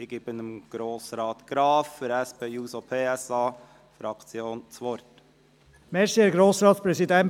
Ich gebe Grossrat Graf für die SP-JUSO-PSA-Fraktion das Wort.